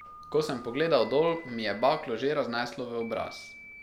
Ko sem pogledal dol, mi je baklo že razneslo v obraz.